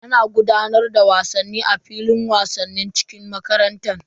Ana gudanar da wasanni a filin wasa cikin makarantar.